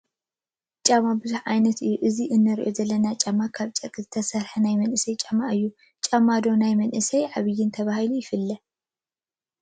ጫማ ብዙሕ ዓይነት እዩ፡፡ እዚ ንሪኦ ዘለና ጫማ ካብ ጨርቂ ዝተሰርሐ ናይ መናእሰይ ጫማ እዩ፡፡ ጫማ ዶ ናይ መንእሰይን ዓብይን ተባሂሉ ይፍለ?